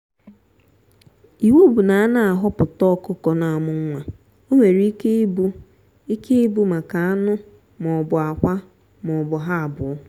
iwu bu na a na-ahọputa ọkụkọ na amu nwa onwere ike ịbụ ike ịbụ maka anụ m'ọbu akwa m'ọbu ha abụọ.